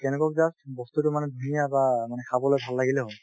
বস্তুতো মানে ধুনীয়া বা মানে খাবলৈ ভাল লাগিলে হল